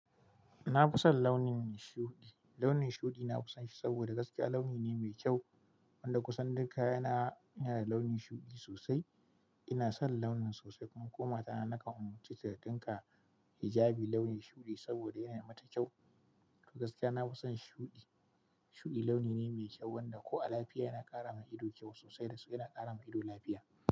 Na fi son launin shuɗi. Launin shuɗi nafi son shi saboda gaskiya launi ne mai kyau wanda kusan duka kayana yana da launin shuɗi sosai. Ina son launin sosai kuma ko matana na kan umarce ta da ɗinka hijabi launin shuɗi saboda yana mata kyau. Gaskiya, nafi son shuɗi. Shuɗi launi ne mai kyau wanda ko a lafiya yana ƙara ma ido kyau sosai da, yana ƙara ma ido lafiya.